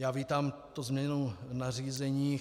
Já vítám tu změnu nařízení.